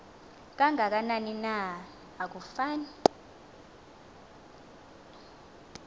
kangakanani na akufani